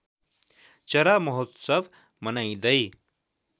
चरा महोत्सव मनाइँदै